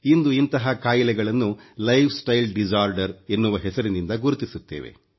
ಇಂದು ಇಂತಹ ಖಾಯಿಲೆಗಳನ್ನು ಹೆಸರಿಂದ ಗುರುತಿಸುತ್ತೇವೆ